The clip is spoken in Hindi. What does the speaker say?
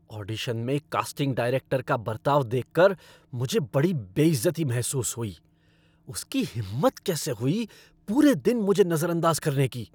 ऑडिशन में कास्टिंग डायरेक्टर का बर्ताव देखकर मुझे बड़ी बेइज़्ज़ती महसूस हुई, उसकी हिम्मत कैसे हुई पूरे दिन मुझे नज़रअदाज़ करने की।